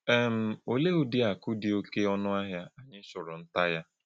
um Òlee ǖ́dị̀ àkụ̀ dị òké ọ̀nụ̀ àhịa ānyị chùrụ̀ ntá yá?